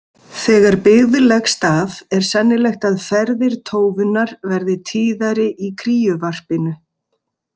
Þegar byggð leggst af er sennilegt að ferðir tófunnar verði tíðari í kríuvarpinu.